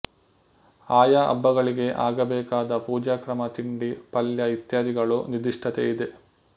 ಆಯಾ ಹಬ್ಬಗಳಿಗೆ ಆಗಬೇಕಾದ ಪೂಜಾಕ್ರಮ ತಿಂಡಿ ಪಲ್ಯ ಇತ್ಯಾದಿಗಳಲ್ಲೂ ನಿರ್ದಿಷ್ಟತೆ ಇದೆ